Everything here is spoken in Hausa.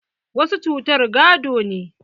Wasu cutar gado ne.